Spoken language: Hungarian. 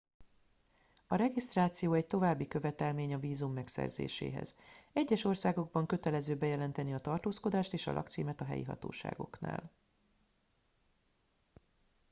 a regisztráció egy további követelmény a vízum megszerzéséhez egyes országokban kötelező bejelenteni a tartózkodást és a lakcímet a helyi hatóságoknál